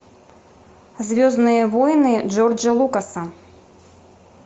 звездные войны джорджа лукаса